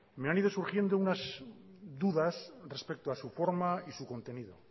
me han ido surgiendo unas dudas respecto a su forma y su contenido